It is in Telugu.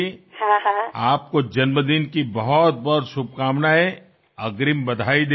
మీకు అనేకానేక ముందస్తు పుట్టినరోజు శుభాకాంక్షలు చెప్పాలనుకున్నాను